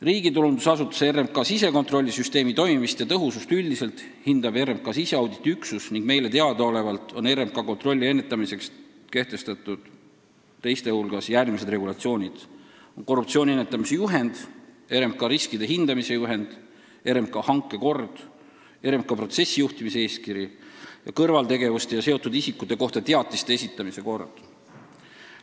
Riigitulundusasutuse RMK sisekontrollisüsteemi toimimist ja tõhusust üldiselt hindab RMK siseauditi üksus ning meile teadaolevalt on RMK-s kasutusel teiste hulgas järgmised regulatsioonid: korruptsiooni ennetamise juhend, RMK riskide hindamise juhend, RMK hankekord, RMK protsessijuhtimise eeskiri ning kõrvaltegevuste ja seotud isikute kohta teatiste esitamise kord.